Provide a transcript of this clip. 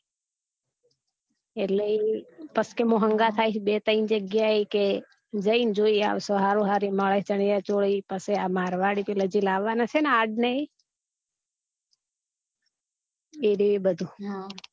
એટલે પછી મુ હન્ઘાત આઇસ પસી બે ત્રણ જગ્યા એ કે જઈ ને જોઈ આવસો હારું હારું મળે ચણીયચોલી એ પછી આ મારવાડી પીલા જે લાવાના છે ને ઈ એ રીયુ એ બધું